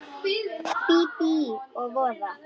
Bíbí og voða.